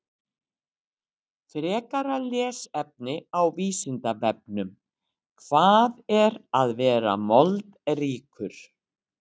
Frekara lesefni á Vísindavefnum: Hvað er að vera moldríkur?